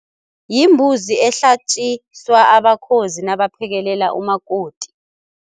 Yimbuzi ehlatjiswa abakhozi nabaphekelela umakoti.